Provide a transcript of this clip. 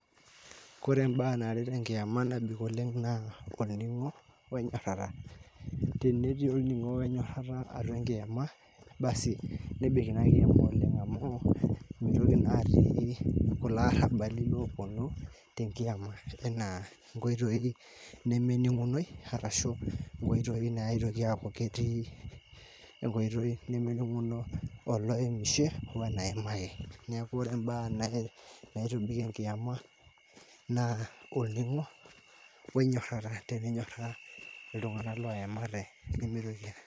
Kore imbaa naaret enkiem nebik oleng naa oning'o onyorata, tenetii olning'o onyorata atua enkiema basi nebik ina nkiema oleng amuu meitoki naa atii lkule arabali duo te nkiema tenaa nkoitoi nemening'unoi arashu nkoitoi naitoki aaku ketii nkoitoi nemening'uno oloemshe oo enaemaki, naaku ore embaa naitobik enkiema naa olning'o oinyorata teninyora ltungana loemate.